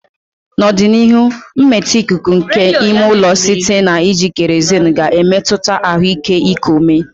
N'ọdịnihu, mmetọ ikuku nke ime ụlọ site na iji kerozinu ga-emetụta ahụike iku ume.